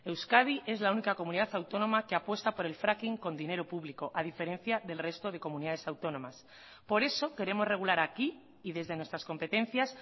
euskadi es la única comunidad autónoma que apuesta por el fracking con dinero público a diferencia del resto de comunidades autónomas por eso queremos regular aquí y desde nuestras competencias